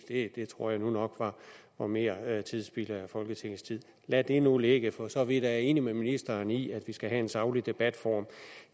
det tror jeg nu nok var mere spild af folketingets tid lad det nu ligge for så vidt er jeg enig med ministeren i at vi skal have en saglig debatform